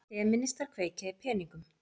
Femínistar kveikja í peningum